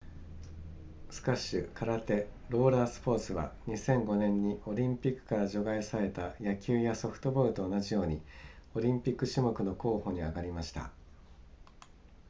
スカッシュ空手ローラースポーツは2005年にオリンピックから除外された野球やソフトボールと同じようにオリンピック種目の候補に挙がりました